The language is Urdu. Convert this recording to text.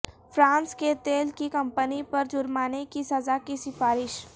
فرانس کی تیل کی کمپنی پر جرمانے کی سزا کی سفارش